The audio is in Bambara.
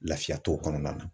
Lafiya t'o kɔnɔna na.